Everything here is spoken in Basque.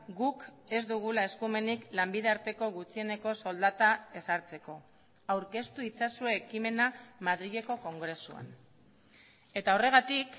guk ez dugula eskumenik lanbide arteko gutxieneko soldata ezartzeko aurkeztu itzazue ekimena madrileko kongresuan eta horregatik